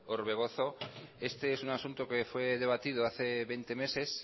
orbegozo este es un asunto que fue debatido hace veinte meses